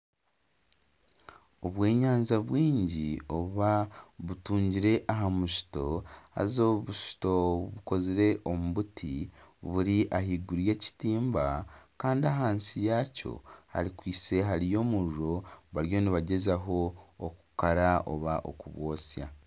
Obw'enyanja bwingi butungire aha musito haza obusito bukozire omu buti buri ahaiguru y'ekitimba kandi ahansi yaakyo hariyo omuriro bari nibagyezaho okukara nari okubwotsya